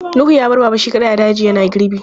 Nuhu ya bar Baba shi kaɗai a daji yana girbi.